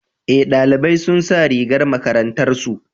Eh, ɗalibai sun sa rigar makarantar su.